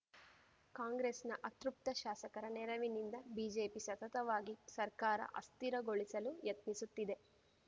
ಕಾಂಗ್ರೆಸ್‌ನ ಅತೃಪ್ತ ಶಾಸಕರ ನೆರವಿನಿಂದ ಬಿಜೆಪಿ ಸತತವಾಗಿ ಸರ್ಕಾರ ಅಸ್ಥಿರಗೊಳಿಸಲು ಯತ್ನಿಸುತ್ತಿದೆ